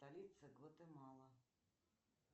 столица гватемала